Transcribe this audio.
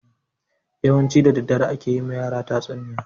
Yawanci da daddare ake yi ma yara tatsuniya.